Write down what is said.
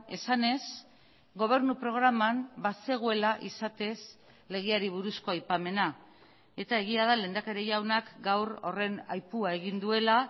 esanez gobernu programan bazegoela izatez legeari buruzko aipamena eta egia da lehendakari jaunak gaur horren aipua egin duela